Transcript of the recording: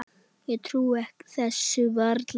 Ég trúi þessu varla enn.